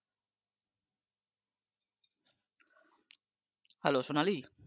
Hello Sonali